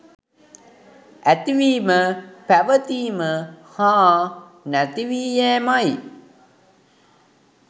ඇතිවීම, පැවතීම, හා නැතිවී යෑමයි.